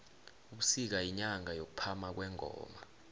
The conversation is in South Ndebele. ubusika yinyanga yokuphama kwengoma